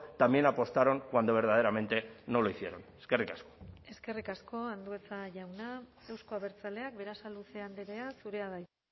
también apostaron cuando verdaderamente no lo hicieron eskerrik asko eskerrik asko andueza jauna euzko abertzaleak berasaluze andrea zurea da hitza